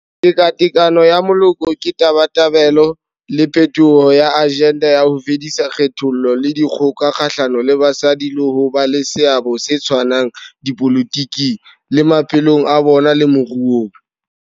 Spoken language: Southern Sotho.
Tekatekano ya Moloko ke tabatabelo le phethoho ya ajenda ya ho fedisa kgethollo le dikgoka kgahlano le basadi le ho ba le seabo se tshwanang dipolotiking, le maphelong a bona le moruong.